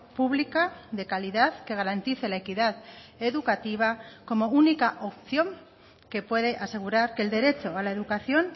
pública de calidad que garantice la equidad educativa como única opción que puede asegurar que el derecho a la educación